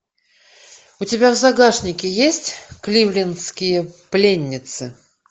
у тебя в загашнике есть кливлендские пленницы